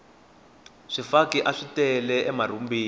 swifaki aswi tele emarhumbini